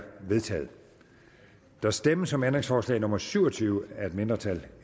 vedtaget der stemmes om ændringsforslag nummer syv og tyve af et mindretal